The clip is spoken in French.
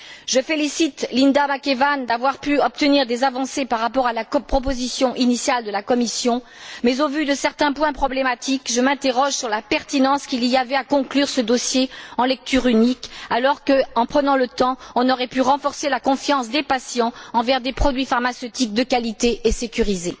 Je félicite Linda McAvan d'avoir pu obtenir des avancées par rapport à la proposition initiale de la Commission, mais au vu de certains points problématiques, je m'interroge sur la pertinence qu'il y avait à conclure ce dossier en lecture unique, alors que, en prenant le temps, on aurait pu renforcer la confiance des patients envers des produits pharmaceutiques de qualité et sécurisés.